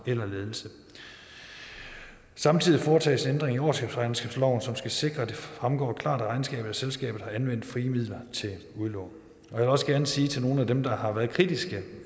eller ledelse samtidig foretages ændring i årsregnskabsloven som skal sikre at det fremgår klart af regnskabet at selskabet har anvendt frie midler til udlån jeg vil også gerne sige til nogle af dem der har været kritiske